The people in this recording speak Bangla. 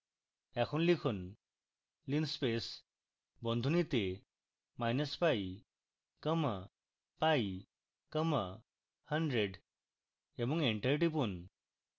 এখন লিখুন: linspace বন্ধনীতে minus pi comma pi comma 100 এবং enter টিপুন